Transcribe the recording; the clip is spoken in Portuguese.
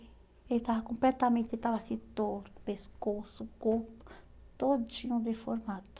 Ele estava completamente estava assim torto, pescoço, corpo, todinho deformado.